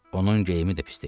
Onun geyimi də pis deyildi.